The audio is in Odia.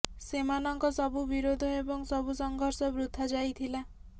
ସେମାନଙ୍କ ସବୁ ବିରୋଧ ଏବଂ ସବୁ ସଂଘର୍ଷ ବୃଥା ଯାଇଥିଲା